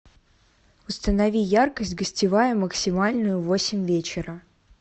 установи яркость гостевая максимальную в восемь вечера